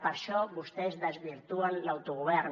per això vostès desvirtuen l’autogovern